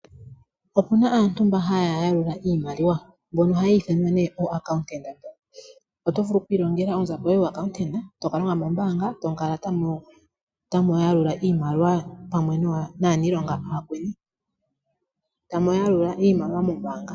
Opuna aantu mba hala yalula iimaliwa mbono hayi ithanwa ooacauntanta. Oto vulu oku ilongela onzapo yoye yuuacountanta tokalonga moombanga tamu kala tamu yalula iimaliwa pamwe naanilonga aakweni tamu yalula iimaliwa mombanga.